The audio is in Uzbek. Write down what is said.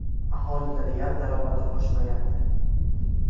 Aholining real daromadi oshmayapti.